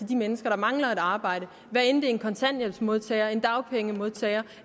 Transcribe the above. de mennesker der mangler et arbejde hvad enten kontanthjælpsmodtagere dagpengemodtagere